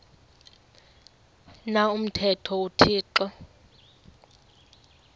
na umthetho uthixo